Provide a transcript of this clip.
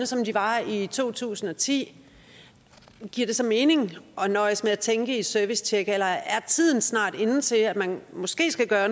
som de var i to tusind og ti giver det så mening at nøjes med at tænke i servicetjek eller er tiden snart inde til at man måske skal gøre